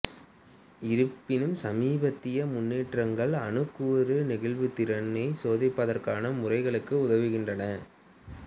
இருப்பினும் சமீபத்திய முன்னேற்றங்கள் அணுக்கூறு நெகிழ்வுத்திறனை சோதிப்பதற்கான முறைகளுக்கு உதவுகின்றன